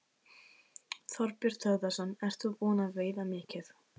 Þorbjörn Þórðarson: Ert þú búin að veiða mikið?